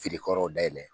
Feere yɔrɔw dayɛlɛ